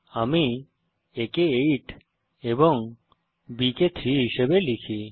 a কে 8 এবং b কে 3 হিসাবে লিখি